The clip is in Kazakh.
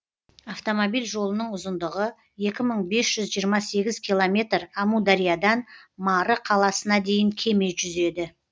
автомобиль жолының ұзындығы екі мың бес жүз жиырма сегіз километр амудариядан мары қаласына дейін кеме жүзеді